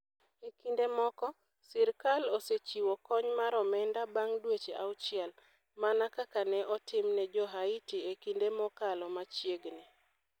E kinde moko, sirkal osechiwo kony mar omenda bang ' dweche auchiel - mana kaka ne otim ne Jo - Haiti e kinde mokalo machiegni.